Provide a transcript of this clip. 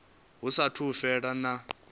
hu saathu u fhela vhege